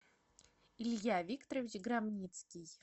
илья викторович громницкий